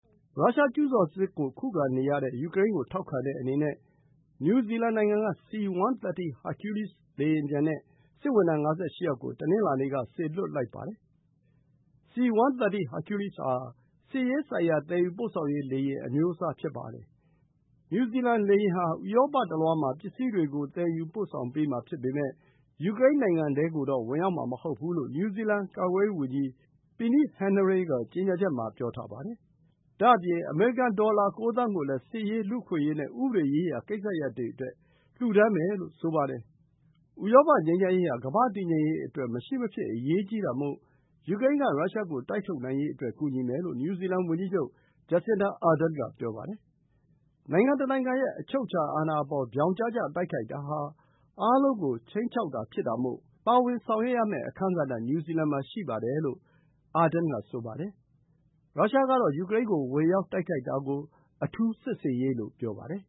ရုရှားကျူးကျော်စစ်ကို ခုခံနေရတဲ့ယူကရိန်းကိုထောက်ခံတဲ့အနေနဲ့ နယူးဇီလန်နိုင်ငံက C-130 Hercules လေယာဉ်ပျံနဲ့ စစ်ဝန်ထမ်း ၅၈ ယောက်ကို တနင်္လာနေ့ က စေလွှတ်လိုက်ပါတယ်။ C-130 Hercules ဟာ စစ်ရေးဆိုင်ရာ သယ်ယူပို့ဆောင်ရေး လေယာဉ် အမျိုးအစားဖြစ်ပါတယ်။ နယူးဇီလန်လေယာဉ်ဟာ ဥရောပတလွှားပစ္စည်းတွေကို သယ်ယူပို့ဆောင်ပေးမှာဖြစ်ပေမယ့် ယူကရိန်းနိုင်ငံထဲကိုတော့ ဝင်ရောက်မှာ မဟုတ်ဘူးလို့ နယူးဇီလန် ကာကွယ်ရေးဝန်ကြီး Peeni Henare က ကြေညာချက်မှာ ပြောထားပါတယ်။ ဒါ့အပြင် အမေရိကန် ဒေါ်လာ ၉ သန်းကိုလည်း စစ်ရေး၊ လူ့အခွင့်အရေးနဲ့ ဥပဒေရေးရာကိစ္စရပ်တွေအတွက် လှူဒန်းမယ်လို့ ဆိုပါတယ်။ ဥရောပ ငြိမ်းချမ်းရေးဟာ ကမ္ဘာ့တည်ငြိမ်ရေးအတွက် မရှိမဖြစ်အရေးကြီးတာမို့ ယူကရိန်းက ရုရှားကို တိုက်ထုတ်နိုင်ရေးအတွက် ကူညီမယ်လို့ နယူးဇီလန်ဝန်ကြီးချုပ် Jacinda Ardern က ပြောပါတယ်။ နိုင်ငံတနိုင်ငံရဲ့ အချုပ်အခြာအာဏာအပေါ် ပြောင်ကျကျတိုက်ခိုက်တာဟာ အားလုံးကို ခြိမ်းခြောက်တာ ဖြစ်တာမို့ ပါဝင်ဆောင်ရွက်ရမယ့် အခန်းကဏ္ဍ နယူးဇီလန်မှာရှိတယ်လို့ Ardern က ဆိုပါတယ်။ ရုရှားကတော့ ယူကရိန်းကို ဝင်ရောက်တိုက်ခိုက်တာကို အထူးစစ်ဆင်ရေးလို့ ပြောပါတယ်